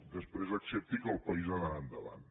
després accepti que el país ha d’anar endavant